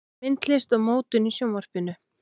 Myndlist og mótun í Sjónvarpinu